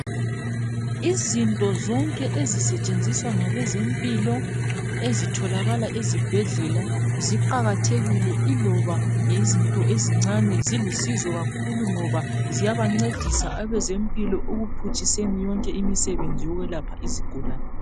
Izinto zonke ezisetshenziswa ngabezempilo ezitholakala ezibhedlela ziqakathekile iloba yizinto ezincane zilusizo kakhulu ngoba ziyabancedisa abezempilo ekuphutshiseni yonke imisebenzi yokwelapha izigulane.